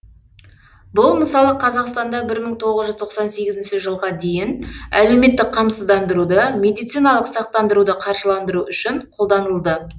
бұл мысалы қазақстанда бір мың тоғыз жүз тоқсан сегізінші жылға дейін әлеуметтік қамсыздандыруды медициналық сақтандыруды қаржыландыру үшін қолданылды